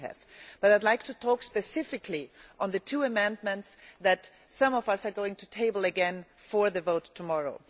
I would like to speak specifically about the two amendments that some of us are going to table again for the vote tomorrow.